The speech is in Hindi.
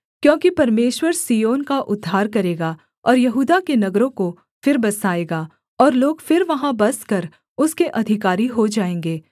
क्योंकि परमेश्वर सिय्योन का उद्धार करेगा और यहूदा के नगरों को फिर बसाएगा और लोग फिर वहाँ बसकर उसके अधिकारी हो जाएँगे